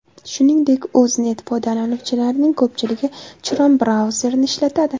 Shuningdek O‘znet foydalanuvchilarining ko‘pchiligi Chrome brauzerini ishlatadi.